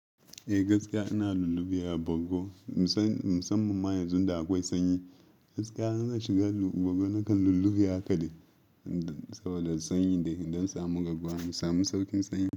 Eh gaskiya ina lulluɓe wa bargo musamman na yanzu da akwai sanyi. Gaskiya in zan shiga bargo na kan lulluɓe haka dai, saboda sanyi don samu garkuwa, in samu sauƙin sanyi.